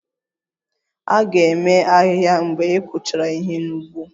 A ga-eme ahịhịa mgbe ị kụchara ihe n'ugbo